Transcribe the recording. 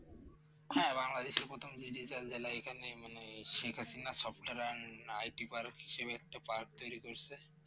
হ্যাঁ, বাংলাদেশ প্রথম Digital জেলা এখানেই মানে Sheikh Hasina software & IT Park হিসেবে একটা Park তৈরি করছে